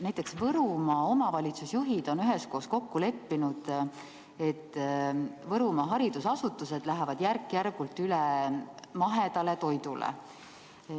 Näiteks Võrumaa omavalitsusjuhid on üheskoos kokku leppinud, et Võrumaa haridusasutused lähevad järk-järgult üle mahedale toidule.